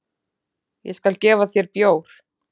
Ég skal gefa þér bjór.